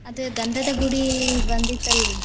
ಆದ ಗಂಧದಗುಡಿ ಬಂದಿತ್ತಲ್ರಿ.